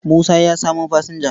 Musa ya samo fasinja.